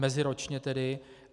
Meziročně tedy.